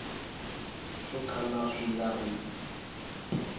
swo kala swi nga ri